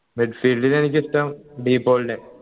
mid field ൽ എനിക്കിഷ്ടം ഡി പോൾനെ